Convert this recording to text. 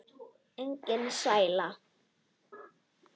Enga stæla!